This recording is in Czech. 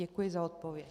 Děkuji za odpověď.